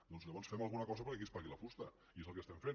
doncs llavors fem alguna cosa perquè aquí es pagui la fusta i és el que estem fent